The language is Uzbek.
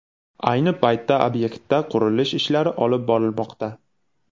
Ayni paytda obyektda qurilish-ishlari olib borilmoqda.